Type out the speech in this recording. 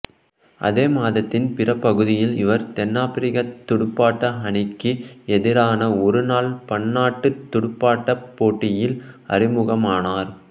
அதே மாதத்தின் பிற்பகுதியில் இவர் தென்னாப்பிரிக்கத் துடுப்பாட்ட அணிக்கு எதிரான ஒருநாள் பன்னாட்டுத் துடுப்பாட்டப் போட்டியில் அறிமுகமானார்